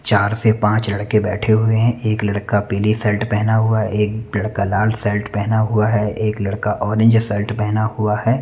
चार से पाच लड़के बेठे हुई हैं एक लड़का पिली शर्ट पहना हुआ है एक लड़का लाल शर्ट पहना हुआ है एक लड़का ओरेंज शर्ट पहना हुआ है।